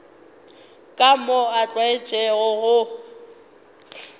ka moo a tlwaetšego go